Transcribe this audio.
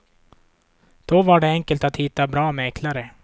Då var det enkelt att hitta bra mäklare.